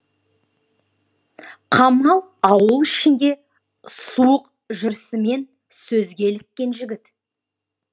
қамал ауыл ішінде суық жүрісімен сөзге іліккен жігіт